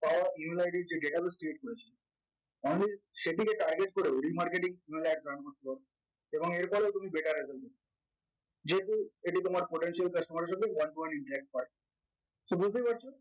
পাওয়া email id এর যে দেখালো statement only সেটিকে target করে remarketing ad কোনো এক term বলব এবং এর ফলে তুমি better এর জন্য যেহেতু এটি তোমার potential customer এর জন্য so বুঝতেই পারছো